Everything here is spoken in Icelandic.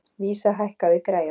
Vísa, hækkaðu í græjunum.